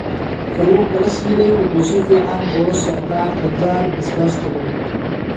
Kalluunka la shiilay wuxuu si fiican ula socdaa qajaar basbaas kulul.